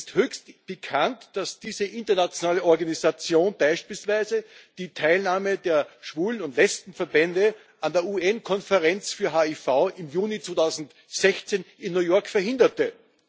Es ist höchst pikant, dass diese internationale Organisation beispielsweise die Teilnahme der Schwulen und Lesbenverbände an der UN Konferenz für HIV im Juni 2016 in New York verhinderte.